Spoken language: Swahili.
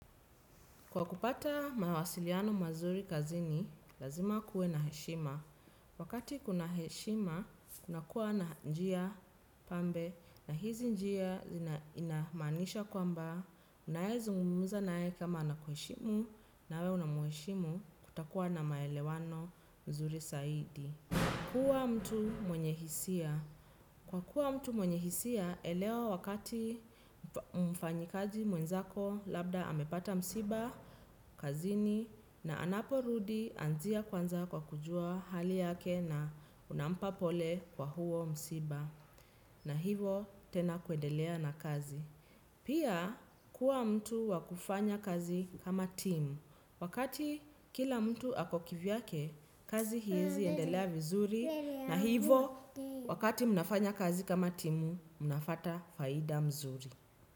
Kwa kupata mawasiliano mazuri kazini, lazima kuwe na heshima. Wakati kuna heshima, unakuwa na njia pambe na hizi njia inamaanisha kwamba, unayezungumza naye kama anakuheshimu nawe unamheshimu kutakuwa na maelewano nzuri zaidi. Kwa kuwa mtu mwenye hisia. Kwa kuwa mtu mwenye hisia, elewa wakati mfanyikaji mwenzako labda amepata msiba, kazini na anaporudi anzia kwanza kwa kujua hali yake na unampa pole kwa huo msiba. Na hivo tena kuendelea na kazi. Pia kuwa mtu wa kufanya kazi kama timu. Wakati kila mtu ako kivyake, kazi iezi endelea vizuri. Na ivo wakati mnafanya kazi kama timu mnapata faida mzuri.